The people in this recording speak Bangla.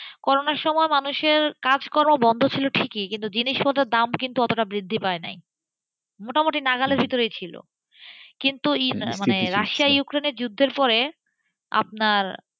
করোনার সময় মানুষের কাজকর্ম বন্ধ ছিল ঠিকই কিন্তু জিনিসপত্রের দাম অতটা কিন্তু বৃদ্ধি পায় নাইমোটামুটি নাগালের ভিতরে ছিলকিন্তু রাশিয়া ইউক্রেনের যুদ্ধের পরে আপনার,